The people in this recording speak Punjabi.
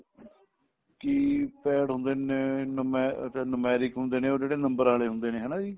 key pad ਹੁੰਦੇ ਨੇ ਨੁਮੇ ਤੇ numeric ਹੁੰਦੇ ਨੇ ਉਹ ਜਿਹੜੇ number ਵਾਲੇ ਹੁੰਦੇ ਨੇ ਹਨਾ ਵੀ